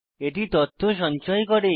এটি তথ্য সঞ্চয় করে